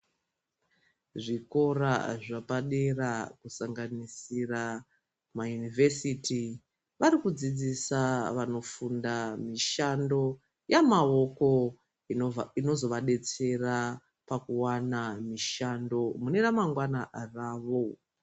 Zvikora zvapadera kusanganisira mayunivhesiti, vari kudzidzisa vanofunda mishando yamaoko inozovadetsera pakuwana mishando mune ramangwana ravo.